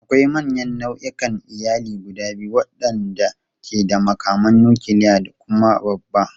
Akwai manyan nau'ikan iyali guda biyu waɗanda ke da makaman nukiliya da kuma babba.